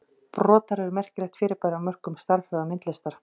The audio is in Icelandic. Brotar eru merkilegt fyrirbæri á mörkum stærðfræði og myndlistar.